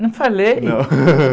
Não falei?ão.